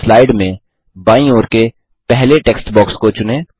slide में बायीं ओर के पहले टेक्स्ट बॉक्स को चुनें